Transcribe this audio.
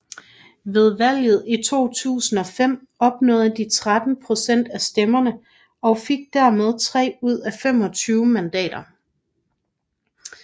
Ved valget i 2005 opnåede de 13 procent af stemmerne og fik dermed 3 ud af 25 mandater